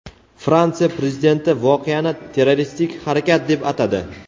Fransiya Prezidenti voqeani terroristik harakat deb atadi.